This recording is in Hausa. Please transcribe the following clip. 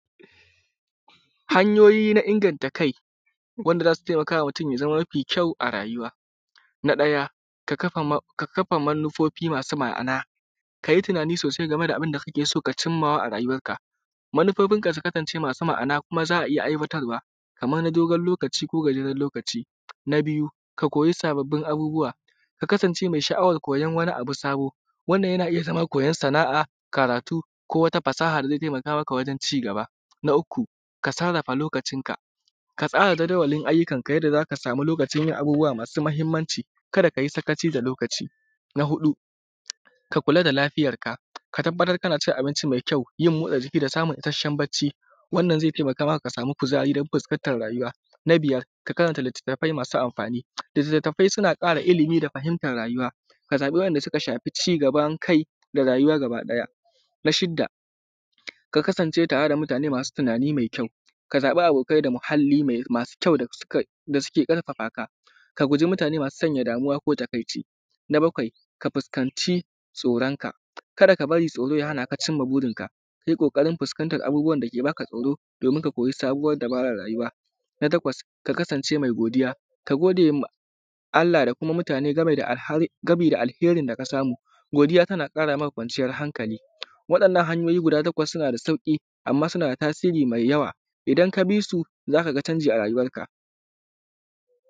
Hanyo:yi na inganta kai wanda za su taimaka ma mutum ya zama mafi kyau a rayuwa na ɗaya: ka kafa manufo:fi masu ma’ana ka yi tunanin sosai game da abunda kake so: ka cimma wa a rayuwarka. Manufo:finka su kasance masu ma’ana kuma za a iya aiwatarwa, kamar na do:gon lokaci ko na gajeren lokaci, na biyu: ka koyi abubbuwa, ka kasance me sha’awar koyan wani abu sabo: wannan yana iya zama koyan sana’a, karatu, ko wata fasaha da ze taimaka wajen ci gaba. na uku: ka sarrafa lokacinka, ka tsara jadawalin ayyukanka yanda za ka samu lokacin yin abubbuwa masu mahinmanci. Kada ka yi sakaci da lokaci, na huɗu: ka kula da lafiyarka ka tabbatar kana cin abinci me kyau, yin mootsa jiki, da samun ishashshen bacci wanda ze taimaka maka ka samu kuzari dan fuskantan rayuwa. na biyar: ka karanta litattafai masu amfani litattafai suna ƙara ilimi da fahimtan rayuwa. ka zaɓi waɗanda suka shafi ci gaban kai da rayuwa. Na shidda: ka kasance tare da mutane masu tunani mee kyau ka zaɓa abokai da malamai masu kyau dasu ƙarfa muka ka guji mutane masu sanya damuwa ko takaici. Na bakwai: ka fuskanta tsooronka kada ka bari tsooroo ya hana ka cima buurinka. ka yi ƙooƙarin fuskantan abubbuwan da yake ba ka tsooroo domin ka ko yi sabuwar dabara rayuwa, na takwas: ka kasance mee godiya ka gode ma Allah da kuma mutane game da game da alheerin da ka samu. Godiya tana ƙara ma ƙwanciyan hankali, waɗanan hanyo:yi guda takwas suna da sauƙi, amma suna tasiri, da yawa idan ka bi su, za ka gani canji a rayuwanka.